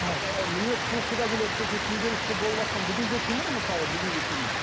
ііі мінез құлқы да келеді сосын күнделікті болыватқан бүгінгі күнім мысалы бүгінгі күнім